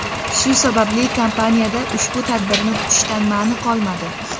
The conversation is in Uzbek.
Shu sababli kompaniyada ushbu tadbirni kutishdan ma’ni qolmadi.